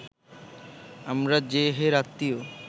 আমরা যে হের আত্মীয়